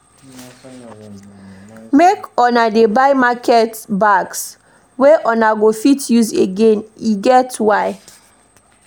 Make una dey buy market bags wey una go fit use again, e get why.